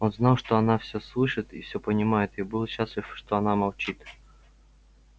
он знал что она всё слышит и все понимает и был счастлив что она молчит